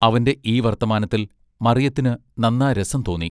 അവന്റെ ഈ വർത്തമാനത്തിൽ മറിയത്തിന് നന്നാ രസം തോന്നി.